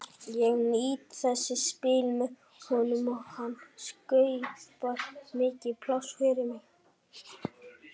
Ég nýt þess að spila með honum og hann skapar mikið pláss fyrir mig.